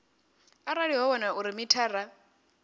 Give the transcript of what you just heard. arali ho wanala uri mithara